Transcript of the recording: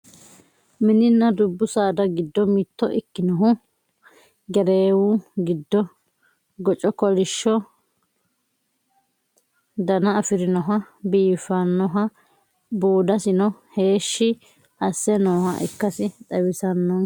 mininna dubbu saada giddo mitto ikkinohu gereewu giddo goco kolishsho dana afirinoha biifannoha buudasino heeshshi asse nooha ikkasi xawissannonkete yaate